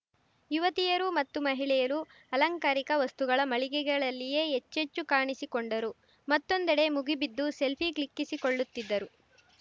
ಯುವತಿಯರು ಮತ್ತು ಮಹಿಳೆಯರು ಅಲಂಕಾರಿಕ ವಸ್ತುಗಳ ಮಳಿಗೆಗಳಲ್ಲಿಯೇ ಹೆಚ್ಚೆಚ್ಚು ಕಾಣಿಸಿಕೊಂಡರು ಮತ್ತೊಂದೆಡೆ ಮುಗಿಬಿದ್ದು ಸೆಲ್ಫೀ ಕ್ಲಿಕ್ಕಿಸಿಕೊಳ್ಳುತ್ತಿದ್ದರು